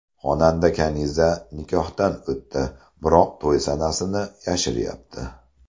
Xonanda Kaniza nikohdan o‘tdi, biroq to‘y sanasini yashiryapti.